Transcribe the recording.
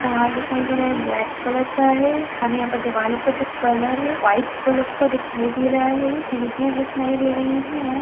तार दिखाई दे रहा है ब्लैक कलर का है हमे यहां पे दीवालों का जो कलर है व्हाइट कलर का दिखाई दे रहा है खिड़किया दिखाई दे रही है।